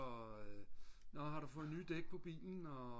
og nå har du fået nye dæk på bilen og